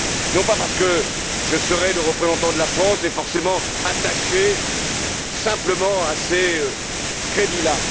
Non pas parce que je serai le représentant de la France et, forcément, attaché simplement à ces crédits